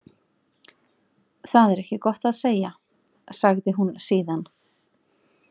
Það er ekki gott að segja, sagði hún síðan.